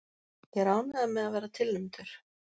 Ég er ánægður með að vera tilnefndur.